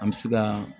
An bɛ se ka